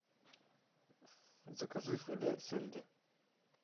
закажи филе сельди